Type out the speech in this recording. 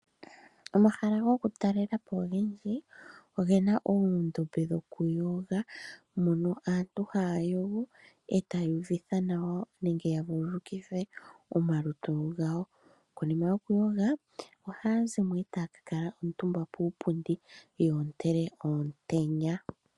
Omahala gokutalela po ogendji oge na oondombe dhokuyoga, mono aantu haya yogo, etaya uvitha nawa nenge ya vululukithe omalutu gawo. Konima yokuyoga, ohaa zi mo e taya ka kala omutumba puupundi ya ontele omutenya.